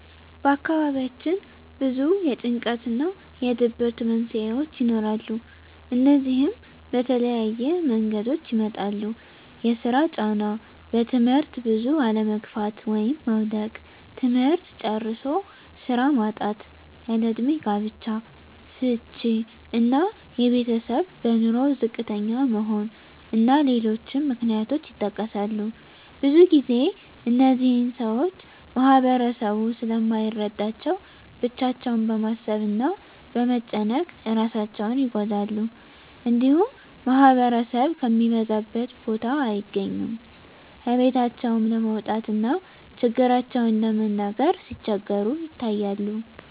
በአካባቢያችን ብዙ የጭንቀት እና የድብርት መንስሄዎች ይኖራሉ። እነዚህም በተለያየ መንገዶች ይመጣሉ የስራ ጫና; በትምህርት ብዙ አለመግፋት (መዉደቅ); ትምህርት ጨርሶ ስራ ማጣት; ያለእድሜ ጋብቻ; ፍች እና የቤተሰብ በኑሮ ዝቅተኛ መሆን እና ሌሎችም ምክንያቶች ይጠቀሳሉ። ብዙ ግዜ እነዚህን ሰወች ማህበረሰቡ ስለማይረዳቸው ብቻቸውን በማሰብ እና በመጨነቅ እራሳቸውን ይጎዳሉ። እንዲሁም ማህበረሰብ ከሚበዛበት ቦታ አይገኙም። ከቤታቸውም ለመውጣት እና ችግራቸውን ለመናገር ሲቸገሩ ይታያሉ።